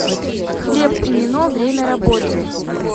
хлеб и нино время работы